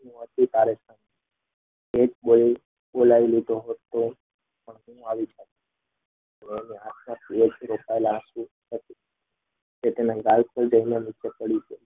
બોલાવી લીધો હતો પણ હું આવી